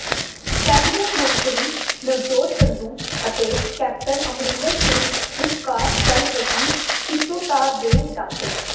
cabinet ਮੰਤਰੀ ਨਵਜੋਤ ਸਿੱਧੂ ਅਤੇ captain Amarinder Singh ਵਿਚਕਾਰ ਚੱਲ ਰਹੀ ਖਿੱਚੋਤਾਣ ਤੇ ਡਾ